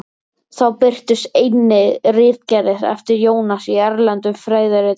Þá birtust einnig ritgerðir eftir Jónas í erlendum fræðiritum.